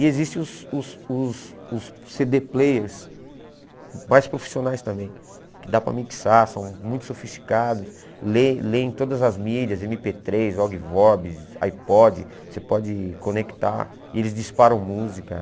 E existem os os os os cê dê players mais profissionais também, que dá para mixar, são muito sofisticados, lê leem todas as mídias, eme pê três, Ogvobs, iPod, você pode conectar e eles disparam música.